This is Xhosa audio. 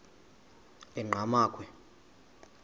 enqgamakhwe